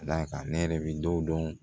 Da kan ne yɛrɛ bi dɔ dɔn